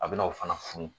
A bɛna aw fana funu